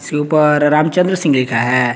के ऊपर रामचंद्र सिंह लिखा है।